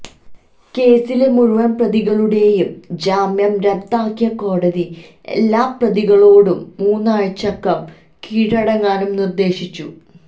കേസിലെ മുഴുവന് പ്രതികളുടെയും ജാമ്യം റദ്ദാക്കിയ കോടതി എല്ലാ പ്രതികളോടും മൂന്നാഴ്ചക്കകം കീഴടങ്ങാനും നിര്ദേശിച്ചു